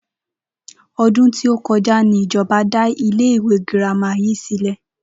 O̩dún tí ó ko̩já ni ìjo̩ba dá ilé ìwé girama yìí sílè̩